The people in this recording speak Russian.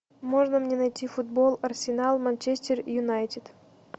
можно мне найти футбол арсенал манчестер юнайтед